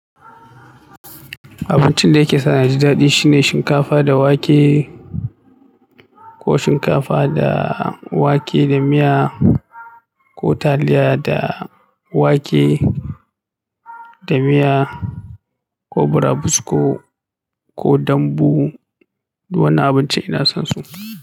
Abincin da yake sa ni ji daɗi shine shinkafa da wake, ko shinkafa da wake da miya, ko taliya da wake da miya, ko burabusko, ko dambu. Wannan abincin ina son su.